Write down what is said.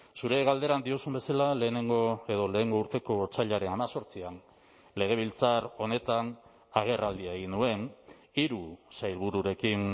zure galderan diozun bezala lehenengo edo lehengo urteko otsailaren hemezortzian legebiltzar honetan agerraldia egin nuen hiru sailbururekin